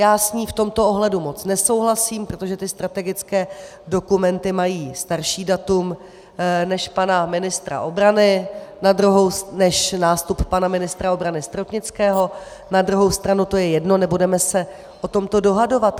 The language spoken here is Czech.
Já s ní v tomto ohledu moc nesouhlasím, protože ty strategické dokumenty mají starší datum než nástup pana ministra obrany Stropnického, na druhou stranu je to jedno, nebudeme se o tomto dohadovat.